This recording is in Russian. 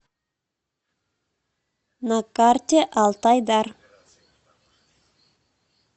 на карте алтайдар